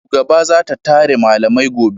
Shugaba za ta tara malamai gobe